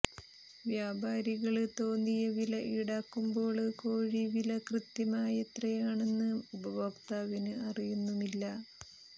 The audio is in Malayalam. വ്യാപാരികള് തോന്നിയ വില ഈടാക്കുമ്പോള് കോഴി വില കൃത്യമായെത്രയാണെന്ന് ഉപഭോക്താവിന് അറിയുന്നുമില്ല